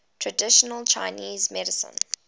traditional chinese medicine